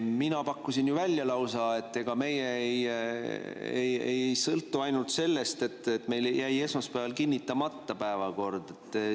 Mina pakkusin lausa välja, et ega meie ei sõltu ainult sellest, et meil jäi esmaspäeval päevakord kinnitamata.